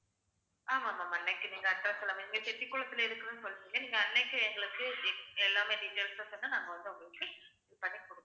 ஆமாம் ma'am அன்னைக்கு நீங்க address எல்லாமே செட்டிகுளத்துல இருக்குதுன்னு சொன்னிங்க நீங்க அன்னைக்கு எங்களுக்கு de~ எல்லாமே details ஆ சொன்னா நாங்க வந்து உங்களுக்கு பண்ணி கொடு~